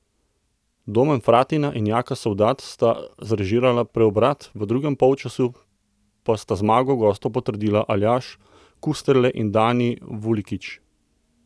Domen Fratina in Jaka Sovdat sta zrežirala preobrat, v drugem polčasu pa sta zmago gostov potrdila Aljaž Kusterle in Dani Vulikič.